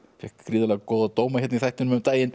fékk gríðarlega góða dóma hérna í þættinum um daginn